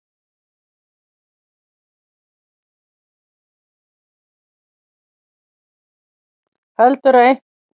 Heldurðu að einhverjir þingmenn séu að fara að ganga úr skaftinu?